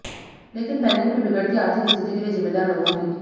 लेकिन बैंकों की बिगड़ती आर्थिक स्थिति के लिए जिम्मेदार लोगों की